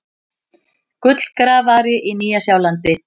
Gullgrafari á Nýja-Sjálandi.